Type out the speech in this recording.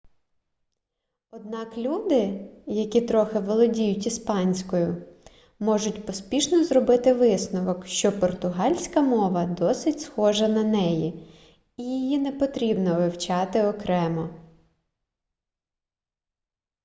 однак люди які трохи володіють іспанською можуть поспішно зробити висновок що португальська мова досить схожа на неї і її не потрібно вивчати окремо